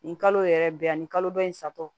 Nin kalo yɛrɛ bɛ yan ani kalo dɔ in satɔ